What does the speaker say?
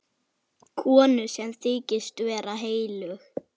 Konu sem þykist vera heilög.